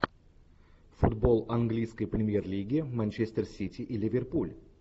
футбол английской премьер лиги манчестер сити и ливерпуль